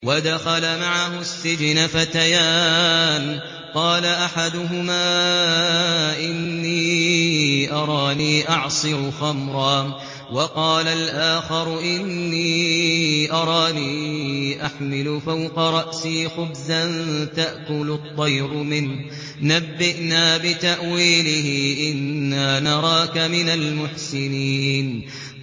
وَدَخَلَ مَعَهُ السِّجْنَ فَتَيَانِ ۖ قَالَ أَحَدُهُمَا إِنِّي أَرَانِي أَعْصِرُ خَمْرًا ۖ وَقَالَ الْآخَرُ إِنِّي أَرَانِي أَحْمِلُ فَوْقَ رَأْسِي خُبْزًا تَأْكُلُ الطَّيْرُ مِنْهُ ۖ نَبِّئْنَا بِتَأْوِيلِهِ ۖ إِنَّا نَرَاكَ مِنَ الْمُحْسِنِينَ